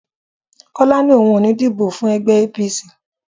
Kọ́lá ní òun ò ní díbó fún ẹgbẹ́ APC.